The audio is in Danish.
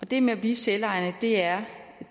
det med at blive selvejende er